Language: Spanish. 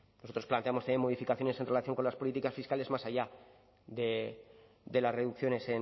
nosotros planteamos también modificaciones en relación con las políticas fiscales más allá de las reducciones